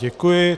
Děkuji.